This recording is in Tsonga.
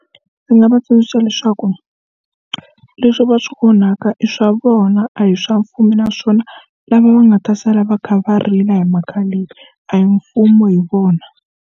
Ndzi nga va tsundzuxa leswaku leswi va swi onhaka i swa vona a hi swa mfumo naswona lava va nga ta sala va kha va rila hi mhaka leyi a hi mfumo hi vona.